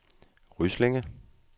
Ryslinge